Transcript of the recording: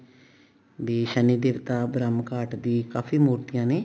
ਵੀ ਸ਼ਨੀ ਦੇਵਤਾ ਬ੍ਰਹਮ ਘਾਟ ਦੀ ਕਾਫੀ ਮੂਰਤੀਆਂ ਨੇ